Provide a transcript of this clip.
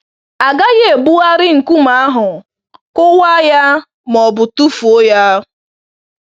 A gaghị ebugharị nkume ahụ, kụwaa ya ma ọ bụ tụfuo ya.